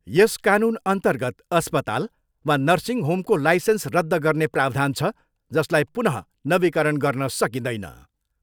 यस कानुनअन्तर्गत अस्पताल वा नर्सिङ होमको लाइसेन्स रद्द गर्ने प्रावधान छ, जसलाई पुनः नवीकरण गर्न सकिँदैन।